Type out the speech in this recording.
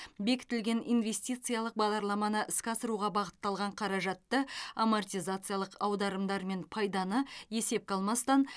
бекітілген инвестициялық бағдарламаны іске асыруға бағытталған қаражатты амортизациялық аударымдар мен пайданы есепке алмастан